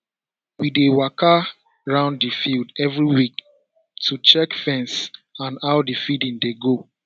we dey waka round the field every week to check fence and how the feeding dey go